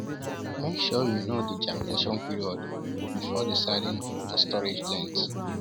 Make sure you know the germination period before deciding on storage length.